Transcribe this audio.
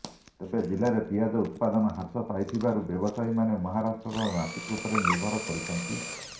ତେବେ ଜିଲ୍ଲାରେ ପିଆଜ ଉତ୍ପାହନ ହ୍ରାସ ପାଇଥିବାରୁ ବ୍ୟବସାୟୀମାନେ ମହାରାଷ୍ଟ୍ରର ନାସିକ୍ ଉପରେ ନିର୍ଭର କରୁଛନ୍ତି